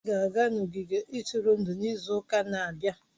Anyị ga-aga n'ogige ntụrụndụ izu ụka na-abịa